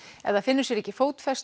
ef það finnur sér ekki fótfestu